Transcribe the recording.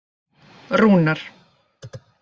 Rúnar